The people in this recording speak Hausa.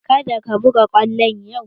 Ka da ka buga kwallo yau!